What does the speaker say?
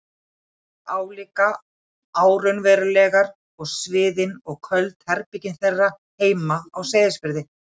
eyjarnar álíka óraunverulegar og sviðin og köld herbergin þeirra heima á Seyðisfirði.